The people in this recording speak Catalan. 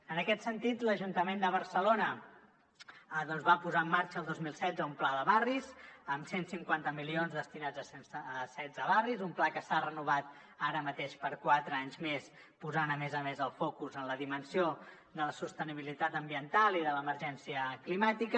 en aquest sentit l’ajuntament de barcelona doncs va posar en marxa el dos mil setze un pla de barris amb cent i cinquanta milions destinats a setze barris un pla que s’ha renovat ara mateix per a quatre anys més posant a més a més el focus en la dimensió de la sostenibilitat ambiental i de l’emergència climàtica